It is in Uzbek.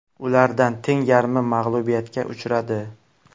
Ulardan teng yarmi mag‘lubiyatga uchradi.